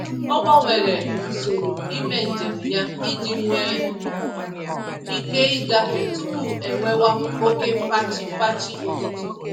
Ọ gbanwere usoro ímé njem ya iji nwe ike igafe tupu enwewa oke fachi-fachi ụtụtụ